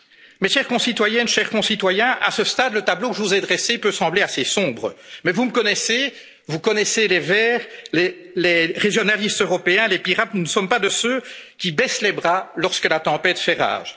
de droit. Mes chères concitoyennes, mes chers concitoyens, à ce stade, le tableau que je vous ai dressé peut sembler assez sombre. Mais vous me connaissez, vous connaissez les Verts, les régionalistes européens, les Pirates, nous ne sommes pas de ceux qui baissent les bras lorsque la tempête